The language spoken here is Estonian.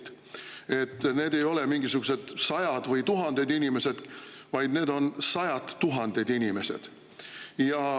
Nii et need ei ole mingisugused sajad või tuhanded inimesed, vaid need on sajad tuhanded inimesed.